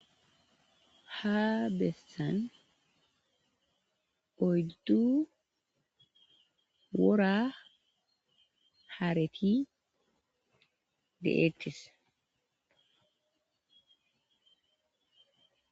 Ha beessan odddu wora haareti de,eettis.